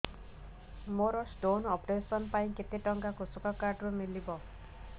ମୋର stone operation ପାଇଁ କେତେ ଟଙ୍କା କୃଷକ କାର୍ଡ ରୁ ମିଳିବ